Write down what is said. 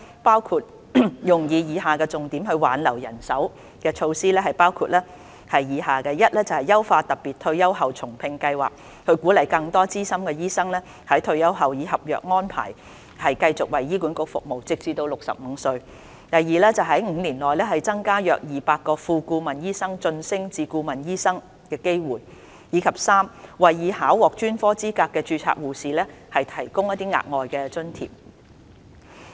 撥款亦用於以下重點挽留人手措施，包括： a 優化特別退休後重聘計劃，鼓勵更多資深醫生在退休後以合約安排繼續為醫管局服務，直至65歲； b 在5年內增加約200個副顧問醫生晉升至顧問醫生的機會；及 c 為已考獲專科資格的註冊護士提供額外津貼。